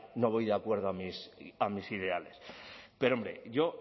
no voy de acuerdo a mis ideales pero hombre